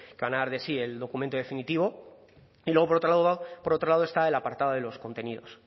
el documento definitivo y luego por otro lado por otro lado está el apartado de los contenidos